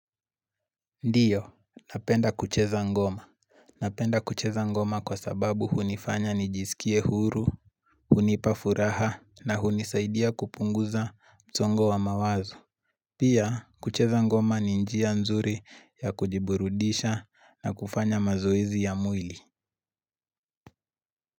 Ndiyo napenda kucheza ngoma. Napenda kucheza ngoma kwa sababu unifanya nijiskie huru. Unipa furaha na unisaidia kupunguza msongo wa mawazo. Pia kucheza ngoma ni njia nzuri ya kujiburudisha na kufanya mazoezi ya mwili.